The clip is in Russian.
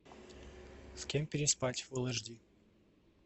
с кем переспать фул эйч ди